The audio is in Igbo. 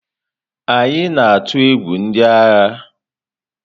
Anyị na-atụ egwu ndị agha.